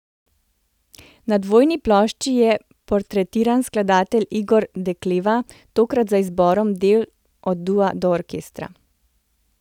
Na dvojni plošči je portretiran skladatelj Igor Dekleva, tokrat z izborom del od dua do orkestra.